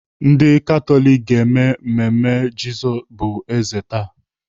Ndị Katọlik ga-eme mmemme Jizọs bụ eze taa.